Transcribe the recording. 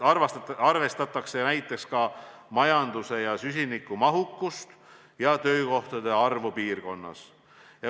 Nüüd arvestatakse näiteks ka majanduse ja süsiniku mahukust ning töökohtade arvu piirkonnas.